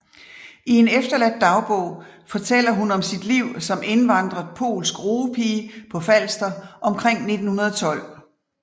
I en efterladt dagbog fortæller hun om sit liv som indvandret polsk roepige på Falster omkring 1912